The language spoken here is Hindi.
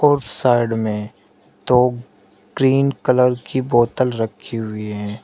उस साइड में दो ग्रीन कलर की बोतल रखी हुई है।